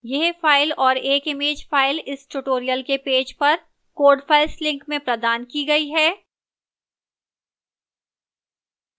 यह file और एक image file इस tutorial के पेज पर code files link में प्रदान की गई है